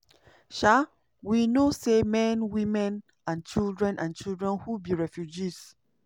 um "we know say men women and children and children who be refugees